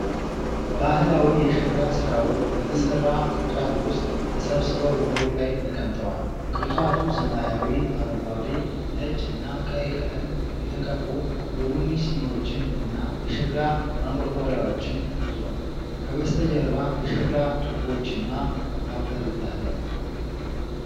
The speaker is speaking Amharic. ባህላዊ የሸክላ ሥራዎች በተሠራ ቅርጫት ውስጥ ተሰብስበው በመሬት ላይ ተቀምጠዋል። ቅርጫቱ ሰማያዊ፣ አረንጓዴ፣ ነጭ እና ቀይ ቀለም የተቀቡ የቡና ስኒዎችን እና የሸክላ ማንቆርቆሪያዎችን ይዟል። ከበስተጀርባ የሸክላ ጡቦችና አፈር ይታያሉ።